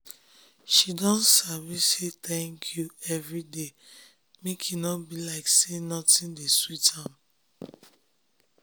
she don sabi say thanku every day make e nor be like say nothin de sweet am